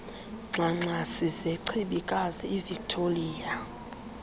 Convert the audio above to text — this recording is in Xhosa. ngxangxasi zechibikazi ivictoliya